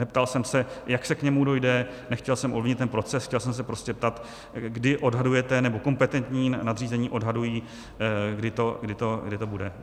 Neptal jsem se, jak se k němu dojde, nechtěl jsem ovlivnit ten proces, chtěl jsem se prostě ptát, kdy odhadujete, nebo kompetentní nadřízení odhadují, kdy to bude.